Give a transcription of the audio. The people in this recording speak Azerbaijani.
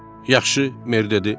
Yaxşı, mer dedi.